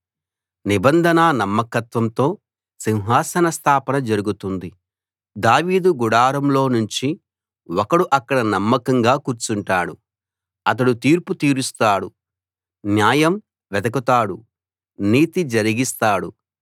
నిబంధనా నమ్మకత్వంతో సింహాసన స్థాపన జరుగుతుంది దావీదు గుడారంలోనుంచి ఒకడు అక్కడ నమ్మకంగా కూర్చుంటాడు అతడు తీర్పు తీరుస్తాడు న్యాయం వెదకుతాడు నీతి జరిగిస్తాడు